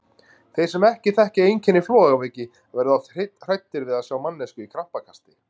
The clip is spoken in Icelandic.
Þeir sem ekki þekkja einkenni flogaveiki verða oft hræddir við að sjá manneskju í krampakasti.